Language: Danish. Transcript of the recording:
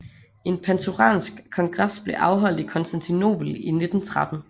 En panturansk kongres blev afholdt i Konstantinopel i 1913